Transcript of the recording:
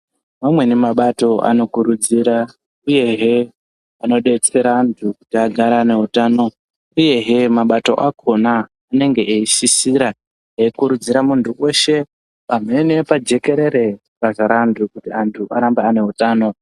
Vamweni mabato anokurudzira uyehe anodetsera antu kuti agare ane utano. Uyehe mabato akhona anenge eisisira, eikurudzira muntu weshe pamhene pajekerere pakazara antu, kuti antu arambe ane utano.